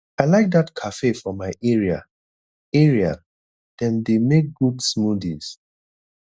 i like dat cafe for my area area dem dey make good smoothies